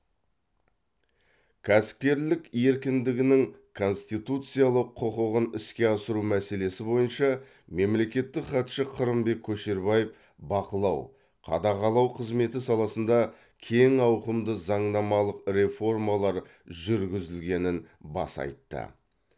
кәсіпкерлік еркіндігінің конституциялық құқығын іске асыру мәселесі бойынша мемлекеттік хатшы қырымбек көшербаев бақылау қадағалау қызметі саласында кең ауқымды заңнамалық реформалар жүргізілгенін баса айтты